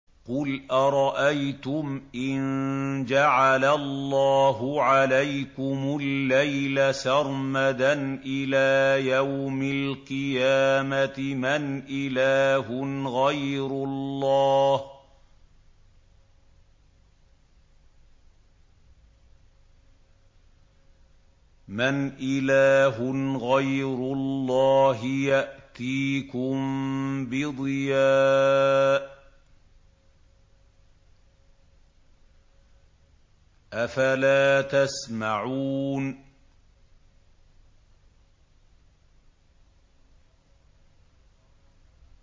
قُلْ أَرَأَيْتُمْ إِن جَعَلَ اللَّهُ عَلَيْكُمُ اللَّيْلَ سَرْمَدًا إِلَىٰ يَوْمِ الْقِيَامَةِ مَنْ إِلَٰهٌ غَيْرُ اللَّهِ يَأْتِيكُم بِضِيَاءٍ ۖ أَفَلَا تَسْمَعُونَ